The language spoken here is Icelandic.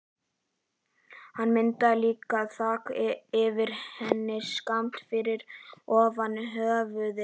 Hann myndaði líka þak yfir henni, skammt fyrir ofan höfuðið.